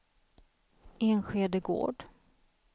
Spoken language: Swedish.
Enskede Gård